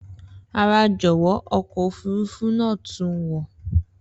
Rara jọwọ, ọkọ ofurufu naa tun n wọ.